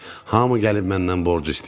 Hamı gəlib məndən borc istəyir.